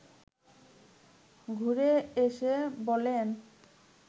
ঘুরে এসে বলেন